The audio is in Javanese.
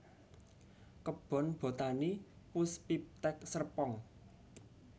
Kebon Botani Puspiptek Serpong